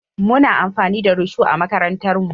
Muna amfani da risho a makarantarmu.